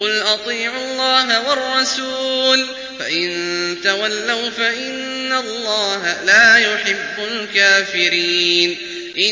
قُلْ أَطِيعُوا اللَّهَ وَالرَّسُولَ ۖ فَإِن تَوَلَّوْا فَإِنَّ اللَّهَ لَا يُحِبُّ الْكَافِرِينَ